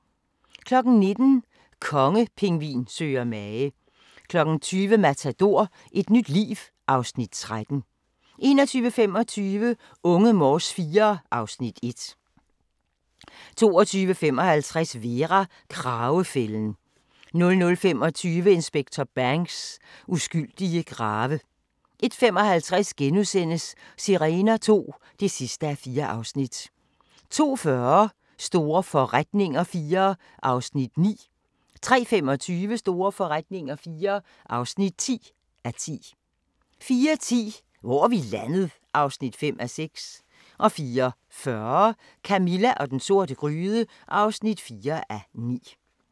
19:00: Kongepingvin søger mage 20:00: Matador - et nyt liv (Afs. 13) 21:25: Unge Morse IV (Afs. 1) 22:55: Vera: Kragefælden 00:25: Kriminalinspektør Banks: Uskyldige grave 01:55: Sirener II (4:4)* 02:40: Store forretninger IV (9:10) 03:25: Store forretninger IV (10:10) 04:10: Hvor er vi landet? (5:6) 04:40: Camilla og den sorte gryde (4:9)